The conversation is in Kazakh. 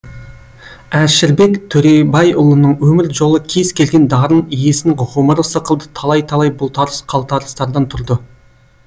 әшірбек төребайұлының өмір жолы кез келген дарын иесінің ғұмыры сықылды талай талай бұлтарыс қалтарыстардан тұрды